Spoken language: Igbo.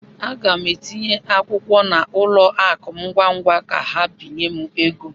Aga m etinye akwụkwọ n'ụlọ akụ m ngwa ngwa ka ha binye m ego.